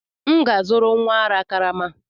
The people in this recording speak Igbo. M ga-azụrụ nwa ara karama.